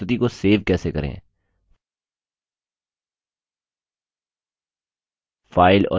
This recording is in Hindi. अब हम देखेंगे कि प्रस्तुति को सेव कैसे करें फाइल और सेव पर क्लिक करें